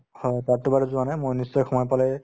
হয়, তাতটো বাৰু যোৱা নাই মই নিশ্চয় সময় পালে